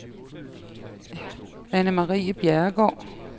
Annemarie Bjerregaard